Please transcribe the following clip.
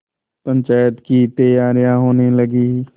पंचायत की तैयारियाँ होने लगीं